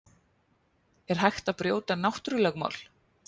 Er hægt að brjóta náttúrulögmál?